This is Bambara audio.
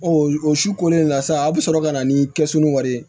o su kolen na sa a bɛ sɔrɔ ka na ni kɛsu ni wari ye